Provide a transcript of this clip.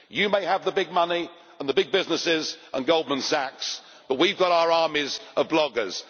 You may have the big money, the big businesses and Goldman Sachs, but we have got our armies of bloggers.